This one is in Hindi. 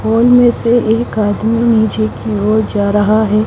उन में से एक आदमी नीचे की ओर जा रहा है .